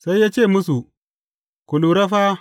Sai ya ce musu, Ku lura fa!